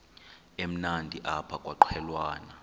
emnandi apha kwaqhelwana